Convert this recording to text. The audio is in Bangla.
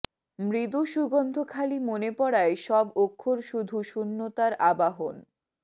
মৃদু সুগন্ধ খালি মনে পড়ায় সব অক্ষর শুধু শূন্যতার আবাহন